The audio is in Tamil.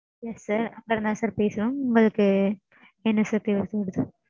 Yes sir அங்க இருந்துதா sir பேசறோம். உங்களுக்கு என்ன sir தேவைப்படுது?